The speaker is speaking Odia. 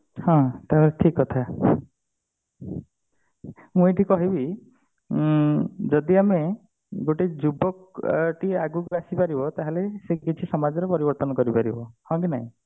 ହ ତାହା ଠିକ କଥା ମୁଁ ଏଇଠି କହିବି ଉଁ ଯଦି ଆମେ ଗୋଟେ ଯୁବକ ଟିଏ ଆଗକୁ ଆସି ପାରିବ ତାହେଲେ ସିଏ କିଛି ସମାଜ ର ପରିବର୍ତନ କରିପାରିବ ହଁ କି ନାଇଁ